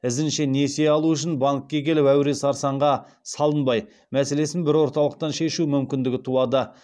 ізінше несие алу үшін банкке келіп әуре сарсаңға салынбай мәселесін бір орталықтан шешу мүмкіндігі туады